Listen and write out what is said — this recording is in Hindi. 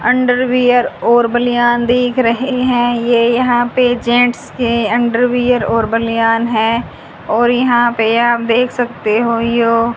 अंडरवियर और बनियान देख रहे हैं ये यहां पे जेंट्स के अंडरवियर और बनियान हैं और यहां पे आप देख सकते हो जो --